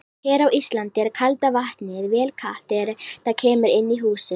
Hér á Íslandi er kalda vatnið vel kalt þegar það kemur inn í húsin.